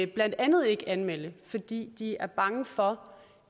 blandt andet ikke anmelde det fordi de er bange for